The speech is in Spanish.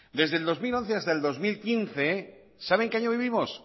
desde el dos mil once hasta el dos mil quince sabe en qué año vivimos